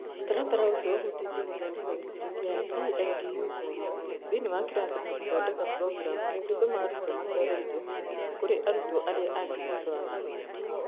Mũtaratara ũcio ũhutĩtie gũthondeka gĩcunjĩ kĩa "EIDU corner" thĩinĩ wa kĩrathi na gũthondeka programu ĩngĩtũma arutwo matware indo icio kũrĩ arutwo arĩa angĩ thutha wa gĩthomo.